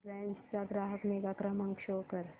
Reliance चा ग्राहक निगा क्रमांक शो कर